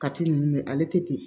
Kati ninnu ale tɛ ten